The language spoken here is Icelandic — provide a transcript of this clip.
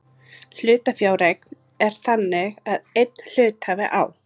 Hlutafjáreign er þannig að einn hluthafi á